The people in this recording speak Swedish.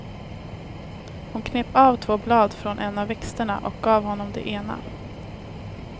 Hon knep av två blad från en av växterna och gav honom det ena.